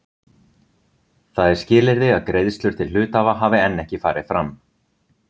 Það er skilyrði að greiðslur til hluthafa hafi enn ekki farið fram.